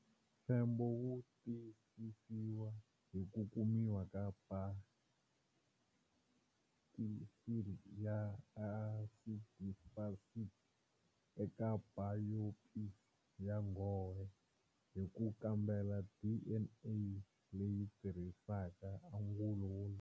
Mfembo wu tiyisisiwa hi ku kumiwa ka bakisili ya asidifasiti eka bayopisi ya nghohe hi ku kambela DNA leyi tirhisaka angulo wo.